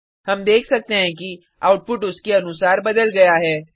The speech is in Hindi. हम देख सकते हैं कि आउटपुट उसके अनुसार बदल गया है